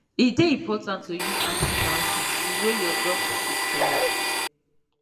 e dey important to dey use antibiotics the way your doctor take tell you